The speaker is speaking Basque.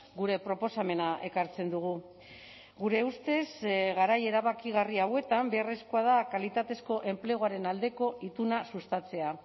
gure proposamena ekartzen dugu gure ustez garai erabakigarri hauetan beharrezkoa da kalitatezko enpleguaren aldeko ituna sustatzea